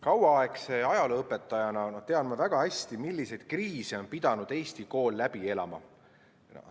Kauaaegse ajalooõpetajana tean ma väga hästi, milliseid kriise on pidanud Eesti kool läbi elama.